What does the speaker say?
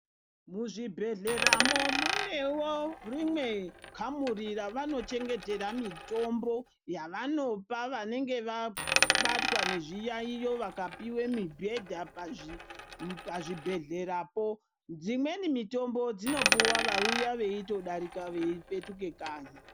Muzvibhedhleramo munevo rimwe kamuri ravanochengetera mitombo yavanopa vanenge vabatwa nezviyaiyo vakapive mibhedha pazvibhedhleyapo. Dzimweni mitombo dzinotopuva vauya veidarika veipetuka kanyi.